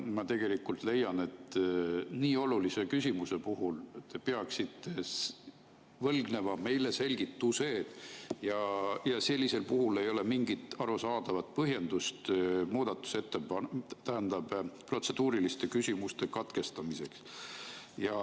Ma leian, et nii olulise küsimuse puhul te peaksite võlgnema meile selgituse ja sellisel puhul ei ole mingit arusaadavat põhjendust protseduuriliste küsimuste katkestamiseks.